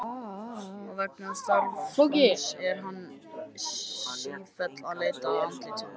Og vegna starfans er hann sífellt að leita að andlitum.